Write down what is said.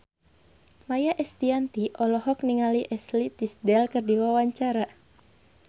Maia Estianty olohok ningali Ashley Tisdale keur diwawancara